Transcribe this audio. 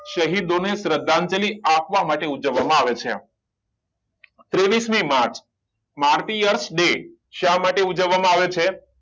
શહીદોને શ્રદ્ધાંજલિ આપવા માટે ઉજવવામાં આવે છે ત્રેવીસ મી માર્ચ શામાટે ઉજવવામાં આવે છે